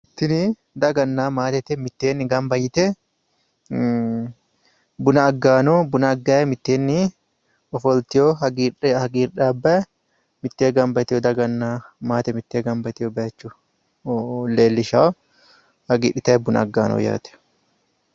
Tini daganna maatete mitteenni gamba yite buna aggayi no. Buna aggayi mitteenni ofoltewo hagiidhaabbayi mitteenni gamba yitewoota daganna maate mittee gamba yitewo baayiicho leellishawo. Hagiidhitayi buna aggayi no yaate.